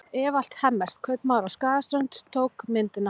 Evald Hemmert, kaupmaður á Skagaströnd, tók myndina.